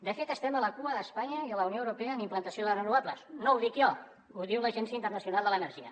de fet estem a la cua d’espanya i de la unió europea en implantació de renovables no ho dic jo ho diu l’agència internacional de l’energia